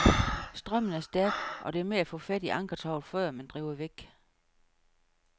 Strømmen er stærk, og det er med at få fat i ankertovet, før man driver væk.